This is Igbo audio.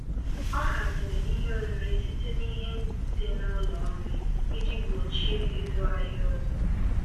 Ọ haziri ihe oriri site n'ihe dị n'ụlọ nri, iji gbochie ịzụ ahịa ọzọ.